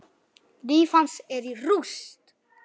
Líf hans er í rúst.